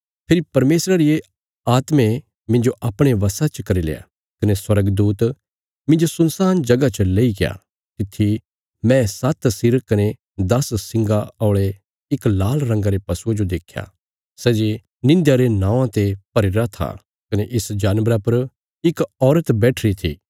फेरी परमेशरा रिया आत्मे मिन्जो अपणे बशा च करील्या कने स्वर्गदूत मिन्जो सुनसान जगह च लेईग्या तित्थी मैं सात्त सिर कने दस सिंगा औल़े इक लाल रंगा रे पशुये जो देख्या सै जे निंध्या रे नौआं ते भरीरा था कने इस जानवरा पर इक औरत बैठीरी थी